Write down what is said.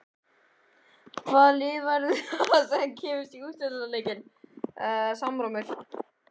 Hvaða lið verða það sem komast í úrslitaleikinn?